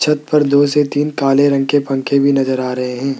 छत पर दो से तीन काले रंग के पंखे भी नजर आ रहे हैं।